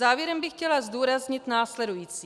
Závěrem bych chtěla zdůraznit následující.